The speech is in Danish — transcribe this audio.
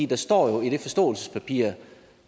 der står jo i det forståelsespapir